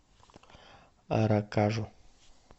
аракажу